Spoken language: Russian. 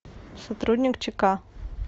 сотрудник чк